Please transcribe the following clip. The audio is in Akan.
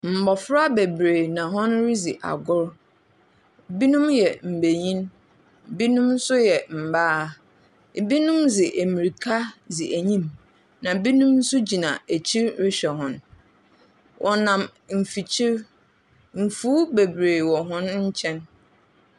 Mmɔfra bebree na wɔredzi agor. Binom yɛ mbenyin. Binom nso yɛ mmaa. Binom nso dze amirika dzi ɛnyim. Na binom nso gyina akyir rehwɛ hɔn. Wɔnam mfikyir. Mfuw bebree wɔ hɔn nkyɛn.